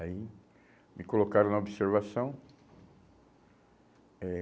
Aí me colocaram na observação. Eh